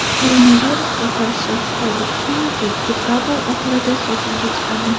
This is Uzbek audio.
Koronavirusga qarshi Xitoy vaksinasi dekabr oxirida sotuvga chiqadi.